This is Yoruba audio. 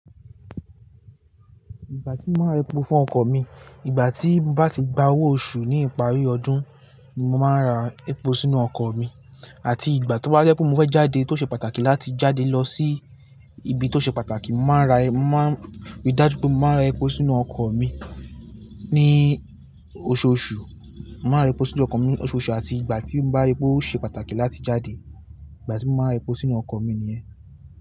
Ìgbà tí mo máa ń rẹpo fún ọkọ̀ mi, ìgbà tí mo bá ti gba owó oṣù ní ìparí ọdún, ni mo máa ra epo sínú ọkọ̀ mi. Àti ìgbà tó bá yẹ pé mo fẹ́ jáde tó ṣe pàtàkì láti jáde lọ sí ibi tó ṣe pàtàkì, mo máa rí dájú pé mo máa ra epo sínú ọkọ̀ mi ní oṣooṣù. Mo máa rẹpo sínú ọkọ̀ mi oṣooṣù àti ìgbà tí bá ri pé oṣe pàtàkì láti jáde. Ìgbà tí mo máa ń rẹpo sínú ọkọ̀ mi nìyẹn.